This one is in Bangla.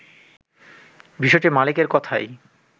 বিষয়টি মালিকের কথাই